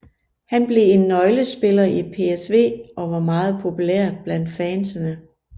Han blev en nøglespiller i PSV og var meget populær blandt fansene